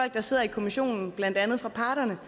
der sidder i kommissionen blandt andet parterne